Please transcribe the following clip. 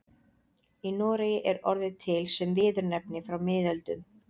Í Noregi er orðið til sem viðurnefni frá miðöldum.